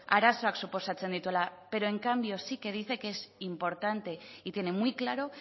arazoak suposatzen dituela pero en cambio sí que dice que es importante y tiene muy claro